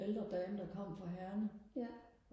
ældre dame der kom fra Herning